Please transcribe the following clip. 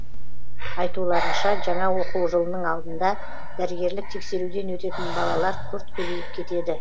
айтуларынша жаңа оқу жылының алдында дәрігерлік тексеруден өтетін балалар күрт көбейіп кетеді